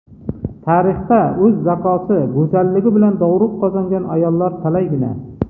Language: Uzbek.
Tarixda o‘z zakosi, go‘zalligi bilan dovruq qozongan ayollar talaygina.